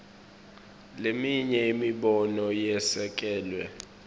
leminye imibono yesekelwe